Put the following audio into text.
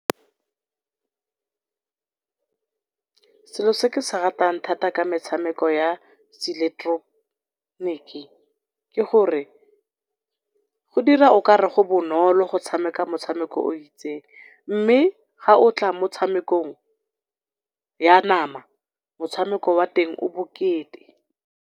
Selo se ke se ratang thata ka metshameko ya se , ke gore go dira o kare go bonolo go tshameka motshameko o itseng, mme ga otla motshamekong ya nama motshameko wa teng o bokete.